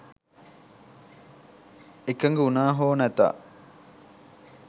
එකඟ වුණා හෝ නැතා